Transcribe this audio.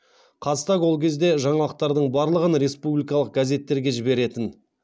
қазтаг ол кезде жаңалықтардың барлығын республикалық газеттерге жіберетін